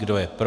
Kdo je pro?